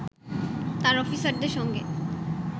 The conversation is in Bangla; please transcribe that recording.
তার অফিসারদের সঙ্গে